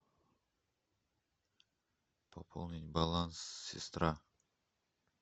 пополнить баланс сестра